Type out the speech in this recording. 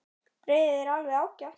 Brauðið er alveg ágætt.